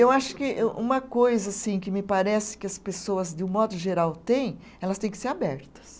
Eu acho que um uma coisa assim que me parece que as pessoas, de um modo geral, têm, elas têm que ser abertas.